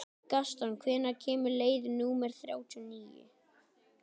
Gaston, hvenær kemur leið númer þrjátíu og níu?